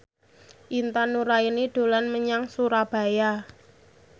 Intan Nuraini dolan menyang Surabaya